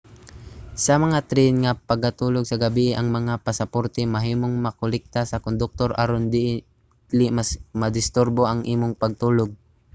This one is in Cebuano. sa mga tren nga pangatulog sa gabii ang mga pasaporte mahimong makolekta sa konduktor aron dili madisturbo ang imong pagtulog